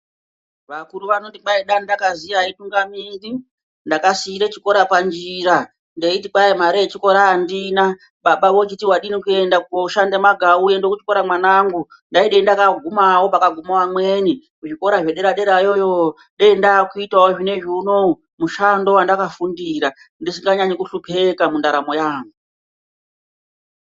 Vakuru vanoti kwai dai ndakaziya haitungamiri, ndakasiira chikora panjira, ndeiti kwai mare yechikora andina baba vochiti wadini kuenda koshanda magau uende kuchikora mwanangu, ndaidei ndakagumawo pakaguma vamweni, kuzvikora zvedera derayo dei ndakuitawo zvinezvi unowu mushando wandakafundira ndisinganyanyi kuhlupheka mundaramo yangu.